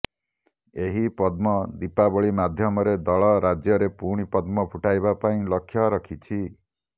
ଏହି ପଦ୍ମ ଦୀପାବଳି ମାଧ୍ୟମରେ ଦଳ ରାଜ୍ୟରେ ପୁଣି ପଦ୍ମ ଫୁଟାଇବା ପାଇଁ ଲକ୍ଷ୍ୟ ରଖିଛି